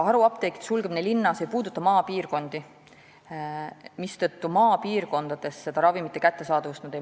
Haruapteekide sulgemine linnas ei puuduta maapiirkondi, mistõttu ei mõjuta see ka ravimite kättesaadavust maal.